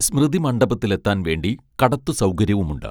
സ്മൃതി മണ്ഡപത്തിലെത്താൻ വേണ്ടി കടത്തു സൗകര്യവുമുണ്ട്